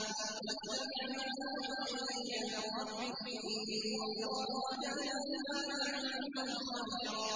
وَاتَّبِعْ مَا يُوحَىٰ إِلَيْكَ مِن رَّبِّكَ ۚ إِنَّ اللَّهَ كَانَ بِمَا تَعْمَلُونَ خَبِيرًا